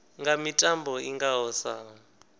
nga mitambo i ngaho sa